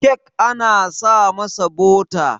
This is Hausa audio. kek ana sa masa bota